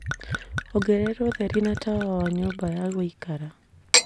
ongerera utheri wa tawa wa nyũmba ya gũikara